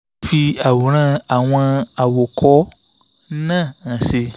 mo ti fi àwòrán àwọn àwòkọ́ náà hàn sí i